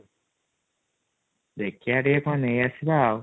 ଦେଖିବା ଟିକେ କ'ଣ ନେଇଆସିବା ଆଉ |